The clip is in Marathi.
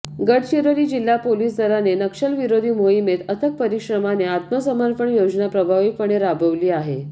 गडचिरोली जिल्हा पोलीस दलाने नक्षलविरोधी मोहिमेत अथक परिश्रमाने आत्मसमर्पण योजना प्रभावीपणे राबवली आहे